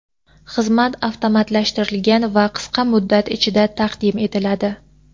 Xizmat avtomatlashtirilgan va qisqa muddat ichida taqdim etiladi.